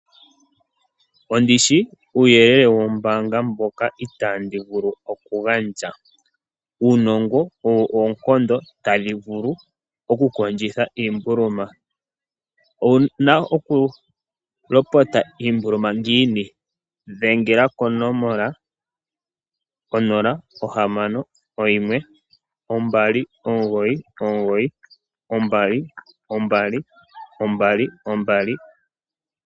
Ondishi uuyelele wombaanga mboka itaandi vulu okugandja, uunongo owo oonkondo tadhi vulu oku kondjitha iimbuluma. Owuna oku lopota iimbuluma ngiini? Ndengela konomola 0612992222.